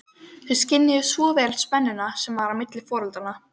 Þau skynjuðu svo vel spennuna sem var á milli foreldranna.